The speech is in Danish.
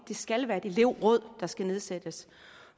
det skal være et elev